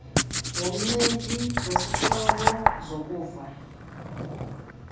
womncedi wezixhobo zokuva